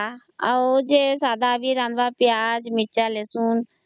ରାନ୍ଧିଲା ତା ପରେ ବି ଯିଏ ସାଧା ସେଟାକେ ପିଆଜ ମରିଚ ରସୁଣ